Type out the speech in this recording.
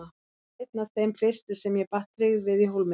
Hann varð einn af þeim fyrstu sem ég batt tryggð við í Hólminum.